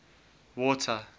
water